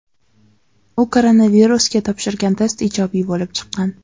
U koronavirusga topshirgan test ijobiy bo‘lib chiqqan.